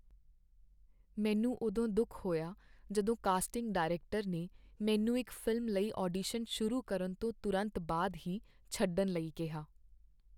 ਮੈਨੂੰ ਉਦੋਂ ਦੁੱਖ ਹੋਇਆ ਜਦੋਂ ਕਾਸਟਿੰਗ ਡਾਇਰੈਕਟਰ ਨੇ ਮੈਨੂੰ ਇੱਕ ਫ਼ਿਲਮ ਲਈ ਆਡੀਸ਼ਨ ਸ਼ੁਰੂ ਕਰਨ ਤੋਂ ਤੁਰੰਤ ਬਾਅਦ ਹੀ ਛੱਡਣ ਲਈ ਕੀਹਾ।